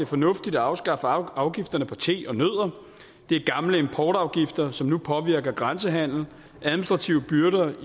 fornuftigt at afskaffe afgifterne på te og nødder det er gamle importafgifter som nu påvirker grænsehandel administrative byrder